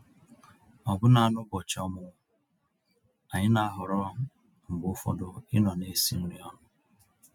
Ọ̀bụ́na n'ụ́bọ̀chị́ ọ̀mụ́mụ́, ànyị́ ná-àhọ̀rọ́ mgbe ụfọ̀dụ̀ ịnọ̀ ná-èsì nrí ọnụ́.